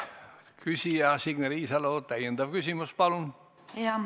Küsija Signe Riisalo, täiendav küsimus, palun!